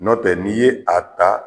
Nɔ tɛ n'i ye a ta.